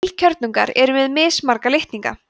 heilkjörnungar eru með mismarga litninga